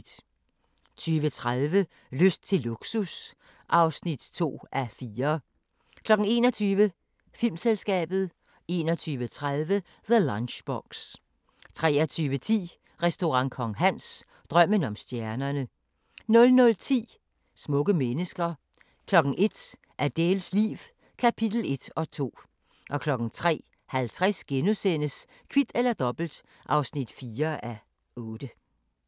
20:30: Lyst til luksus (2:4) 21:00: Filmselskabet 21:30: The Lunchbox 23:10: Restaurant Kong Hans – drømmen om stjernerne 00:10: Smukke mennesker 01:00: Adèles liv – kapitel 1 og 2 03:50: Kvit eller Dobbelt (4:8)*